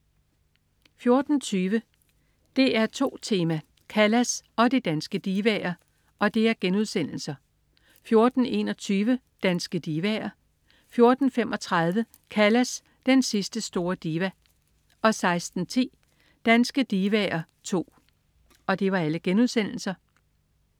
14.20 DR2 Tema: Callas og de danske divaer* 14.21 Danske divaer I* 14.35 Callas, den sidste store diva* 16.10 Danske divaer II*